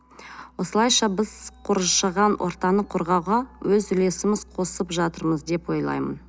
осылайша біз коршаған ортаны қорғауға өз үлесіміз қосып жатырмыз деп ойлаймын